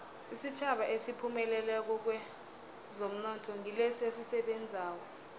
isitjhaba esiphumelelako kwezomnotho ngilesi esisebenzako